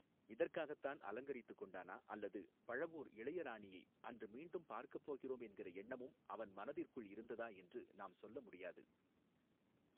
இதற்காகத்தான் அலங்கரித்துக் கொண்டானா அல்லது பழவூர் இளையராணியை அன்று மீண்டும் பார்க்கப் போகிறோம் என்கிற எண்ணமும் அவன் மனதிற்குள் இருந்ததா என்று நாம் சொல்ல முடியாது.